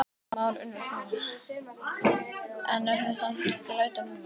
Kristján Már Unnarsson: En það er samt glæta núna?